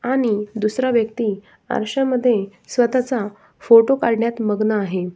आणि दूसरा व्यक्ति आरशामध्ये स्वतः चा फोटो काढण्यात मग्न आहे.